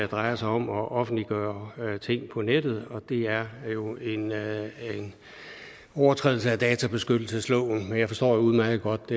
drejer sig om at offentliggøre ting på nettet og det er jo en overtrædelse af databeskyttelsesloven jeg forstår udmærket godt